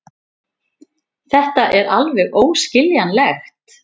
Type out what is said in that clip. Þetta er alveg óskiljanlegt.